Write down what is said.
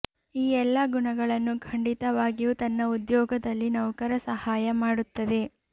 ಈ ಎಲ್ಲಾ ಗುಣಗಳನ್ನು ಖಂಡಿತವಾಗಿಯೂ ತನ್ನ ಉದ್ಯೋಗದಲ್ಲಿ ನೌಕರ ಸಹಾಯ ಮಾಡುತ್ತದೆ